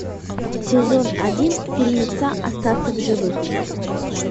сезон один фильмеца остаться в живых